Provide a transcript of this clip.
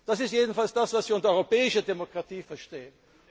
Das ist jedenfalls das, was wir unter europäischer Demokratie verstehen.